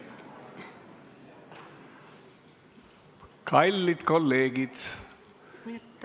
Kallid kolleegid!